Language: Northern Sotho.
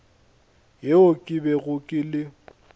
yeo ke bego ke le